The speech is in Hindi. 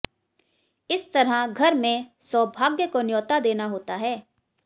इस तरह घर में सौभाग्य को न्यौता देना होता है